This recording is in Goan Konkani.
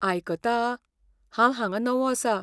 आयकता? हांव हांगा नवो आसा.